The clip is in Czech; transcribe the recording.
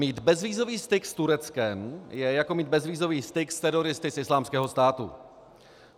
Mít bezvízový styk s Tureckem je jako mít bezvízový styk s teroristy z Islámského státu.